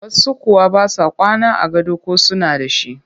Wasu kuwa ba sa kwana a gado ko suna da shi